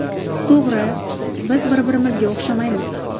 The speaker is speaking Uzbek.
To‘g‘ri, biz bir-birimizga o‘xshamaymiz.